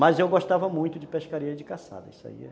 Mas eu gostava muito de pescaria e de caçada, isso aí era.